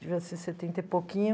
devia ser setenta e pouquinho.